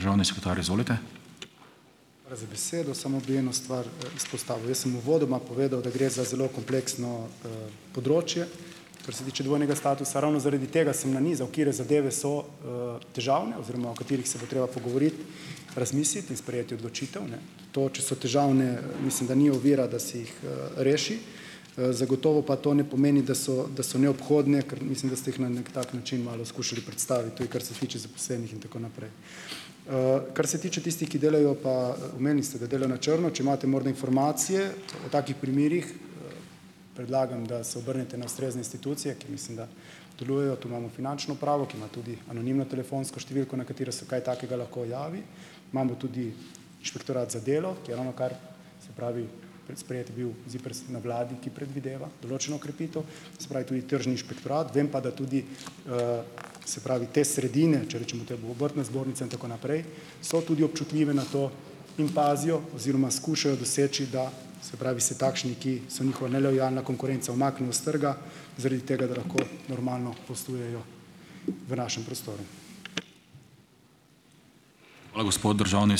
Hvala za besedo. Samo bi eno stvar, izpostavil. Jaz sem uvodoma povedal, da gre za zelo kompleksno, področje, kar se tiče dvojnega statusa. Ravno zaradi tega sem nanizal, katere zadeve so, težavne, oziroma o katerih se bo treba pogovoriti, razmisliti in sprejeti odločitev, ne. To, če so težavne, mislim, da ni ovira, da si jih, reši, zagotovo pa to ne pomeni, da so da so neobhodne, ker mislim, da ste jih na neki tak način malo skušali predstaviti, tudi kar se tiče zaposlenih in tako naprej. Kar se tiče tistih, ki delajo, pa, omenili ste, da delajo na črno, če imate morda informacije o takih primerih, predlagam, da se obrnete na ustrezne institucije, ki, mislim, da delujejo. Tu imamo Finančno upravo, ki ima tudi anonimno telefonsko številko, na katero se kaj takega lahko javi, imamo tudi Inšpektorat za delo, ki je ravnokar, se pravi, predsprejet bil ZIPRS na vladi, ki predvideva določeno okrepitev, se pravi, tudi Tržni inšpektorat, vem pa, da tudi, se pravi, te sredine, če rečemo temu obrtna zbornica in tako naprej, so tudi občutljivi na to in pazijo oziroma skušajo doseči, da, se pravi, se takšni, ki so njihova nelojalna konkurenca, umaknejo s trga, zaradi tega, da lahko normalno poslujejo v našem prostoru.